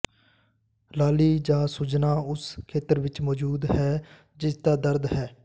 ਲਾਲੀ ਜਾਂ ਸੁੱਜਣਾ ਉਸ ਖੇਤਰ ਵਿੱਚ ਮੌਜੂਦ ਹੈ ਜਿਸਦਾ ਦਰਦ ਹੈ